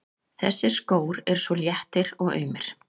Þessir skór eru svo léttir og aumir.